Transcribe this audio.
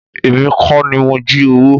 Èmi kọ́ ni mo jí owó.